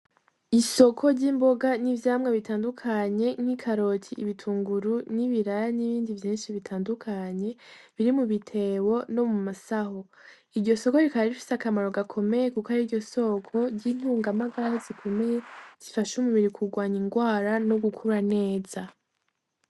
Isoko ry'imboga n'ivyamwa bitandukanye nk'ikaroti, ibitunguru, n'ibiraya n'ibindi vyinshi bitandukanye; biri mu bitebo no mu masaho. Iryo soko rikaba rifise akamaro gakomeye kuko ariryo soko ry'intungamagara zikomeye; zifasha umubiri kurwanya indwara no gukura neza.